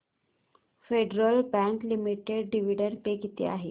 federal Bank Limited dividend pay किती आहे